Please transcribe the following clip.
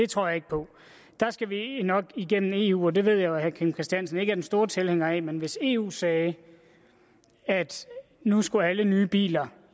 tror jeg ikke på der skal vi nok igennem eu og det ved jeg jo at herre kim christiansen ikke er den store tilhænger af men hvis eu sagde at nu skulle alle nye biler